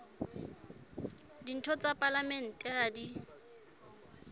ditho tsa palamente ha di